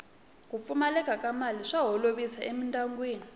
ku pfumaleka ka mali swa holovisa emindyangwini